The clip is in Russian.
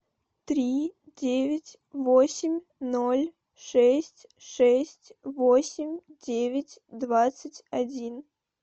три девять восемь ноль шесть шесть восемь девять двадцать один